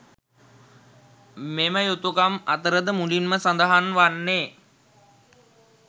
මෙම යුතුකම් අතර ද මුලින් ම සඳහන් වන්නේ